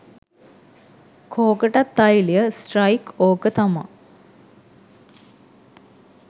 කෝකටත් තෛලය ස්ට්‍රයික්ඕක තමා